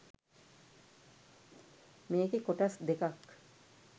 මේකෙ කොටස් දෙකක්